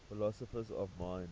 philosophers of mind